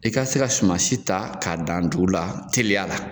E ka se ka sumasi ta k'a dan dugu la teliya la